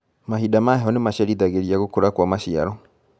Mahinda ma heho nĩmacerithagĩria gũkũra kwa maciaro.